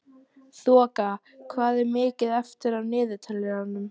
Þoka, hvað er mikið eftir af niðurteljaranum?